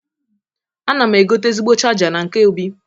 Ana m egote ezigbo chaja na nke Obi.